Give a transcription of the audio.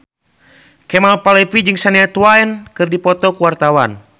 Kemal Palevi jeung Shania Twain keur dipoto ku wartawan